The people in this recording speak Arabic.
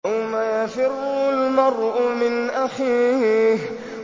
يَوْمَ يَفِرُّ الْمَرْءُ مِنْ أَخِيهِ